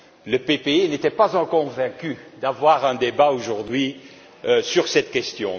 le PPE n'était pas encore convaincu d'avoir un débat aujourd'hui sur cette question.